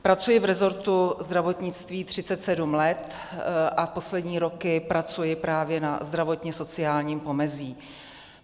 Pracuji v resortu zdravotnictví 37 let a poslední roky pracuji právě na zdravotně-sociálním pomezí.